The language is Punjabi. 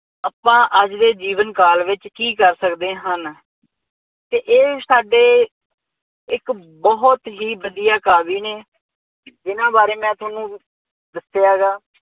ਆਪਾਂ ਅੱਜ ਦੇ ਜੀਵਨ ਕਾਲ ਵਿੱਚ ਕੀ ਕਰ ਸਕਦੇ ਹਨ ਅਤੇ ਇਹ ਸਾਡੇ ਇੱਕ ਬਹੁਤ ਹੀ ਵਧੀਆਂ ਕਾਵਿ ਨੇ ਜਿੰਨ੍ਹਾ ਬਾਰੇ ਮੈਂ ਤੁਹਾਨੂੰ ਦੱਸਿਆ ਹੈਗਾ।